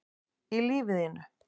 í lífi þínu